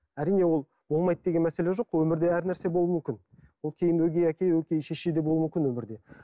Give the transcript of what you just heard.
әрине ол болмайды деген мәселе жоқ қой өмірде әр нәрсе болуы мүмкін ол кейін өгей әке өгей шеше де болуы мүмкін өмірде